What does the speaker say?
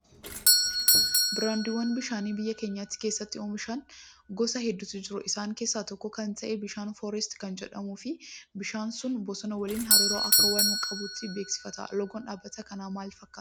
Biraandiiwwan bishaanii biyya keenya keessatti oomishamanii gosa hedduutu jiru. Isaan keessaa tokko kan ta'e bishaan foorast kan jedhuu fi bishaan sun bosona waliin hariiroo akka waan qabuutti beeksifata. Loogoon dhaabbata kanaa maal fakkaataa?